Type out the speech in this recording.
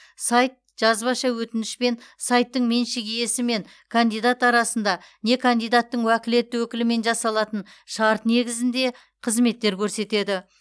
сайт жазбаша өтініш пен сайттың меншік иесі мен кандидат арасында не кандидаттың уәкілетті өкілімен жасалатын шарт негізінде қызметтер көрсетеді